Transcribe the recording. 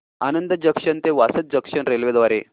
Anand junction ते Vasad junction railway द्वारे